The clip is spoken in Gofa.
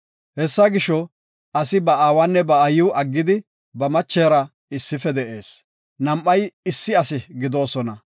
Hessa gisho, asi ba aawanne ba aayiw aggidi, ba machera issife de7ees; nam7ay issi asi gidoosona.